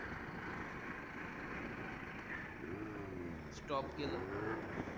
Stop केलं.